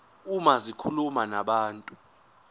uma zikhuluma nabantu